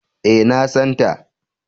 E, na san ta.